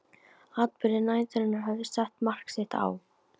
Atburðir næturinnar höfðu sett mark sitt á